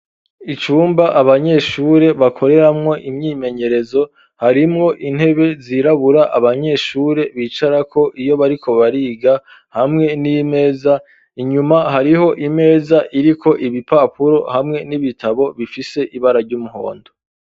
Icumba abanyeshure bakoreramwo imyimenyerezo harimwo intebe zirabura abanyeshure bicarako iyo bariko bariga hamwe n'imeza inyuma hariho imeza iriko ibipapuro hamwe n'ibitabo bifise ibara ry'umuhondo.